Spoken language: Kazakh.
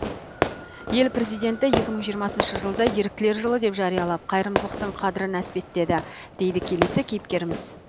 ел президенті екі мың жиырмасыншы жылды еріктілер жылы деп жариялап қайырымдылықтың қадірін әспеттеді дейді келесі кейіпкеріміз